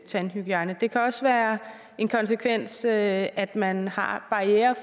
tandhygiejne det kan også være en konsekvens at at man har barrierer